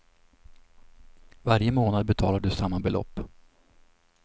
Varje månad betalar du samma belopp.